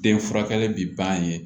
Den furakɛli bi ban yen